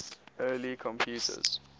early computers